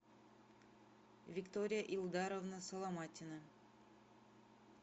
виктория илдаровна соломатина